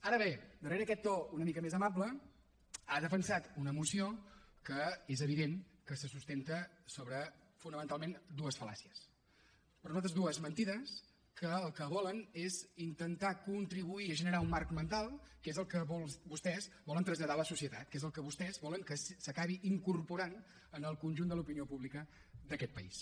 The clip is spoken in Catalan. ara bé darrera aquest to una mica més amable ha defensat una moció que és evident que se sustenta sobre fonamentalment dues fal·làcies per nosaltres dues mentides que el que volen és intentar contribuir a generar un marc mental que és el que molts de vostès volen traslladar a la societat que és el que vostès volen que s’acabi incorporant en el conjunt de l’opinió pública d’aquest país